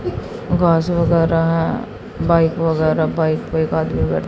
घास वगैरा है बाइक वगैरा बाइक पे एक आदमी बै--